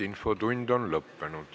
Infotund on lõppenud.